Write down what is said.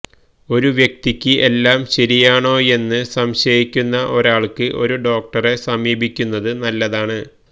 ഒരു വ്യക്തിക്ക് എല്ലാം ശരിയാണോയെന്ന് സംശയിക്കുന്ന ഒരാൾക്ക് ഒരു ഡോക്ടറെ സമീപിക്കുന്നത് നല്ലതാണ്